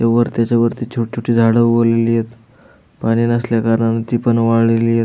वर त्याच्या वरती छोट छोटी झाड उगवलेलीयेत पाणी नसल्या करणामुळ ती पण वाळलेली येत.